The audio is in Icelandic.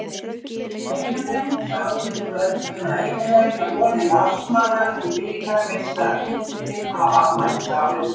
Eyjamenn sáu í kvöld um að eyðileggja vonir Valsmanna um bikarmeistaratitilinn á afmælisárinu.